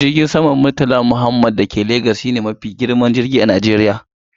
Jirgin saman murtala muhammed da ke jihar legas shine mafi girman filin jirgi a Najeriya.